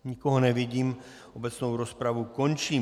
Nikoho nevidím, obecnou rozpravu končím.